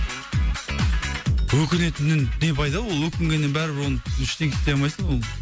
өкінетіннен не пайда ол өкінгеннен бәрібір ол ештеңке істей алмайсың ол